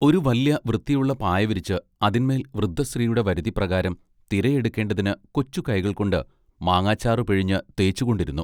ഒരു വല്ല്യ വൃത്തിയുള്ള പായവിരിച്ച് അതിന്മേൽ വൃദ്ധസ്ത്രീയുടെ വരുതി പ്രകാരം തിര എടുക്കേണ്ടതിന് കൊച്ചു കൈകൾകൊണ്ട് മാങ്ങാച്ചാറ് പിഴിഞ്ഞ് തേച്ചുകൊണ്ടിരുന്നു